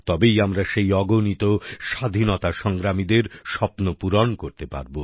তবেই আমরা সেই অগণিত স্বাধীনতা সংগ্রামীদের স্বপ্ন পূরণ করতে পারব